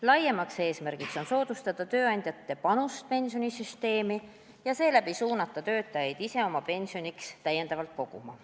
Laiem eesmärk on soodustada tööandjate panust pensionisüsteemi ja seeläbi suunata töötajaid ise täiendavalt oma pensioniks koguma.